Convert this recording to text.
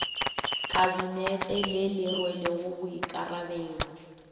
kabinete le le rwelego boikarabelo